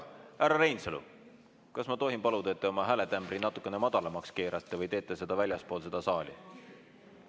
Härra Reinsalu, kas ma tohin paluda, et te oma hääle natukene madalamaks keerate või räägite väljaspool saali?